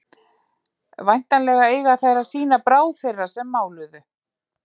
væntanlega eiga þær að sýna bráð þeirra sem máluðu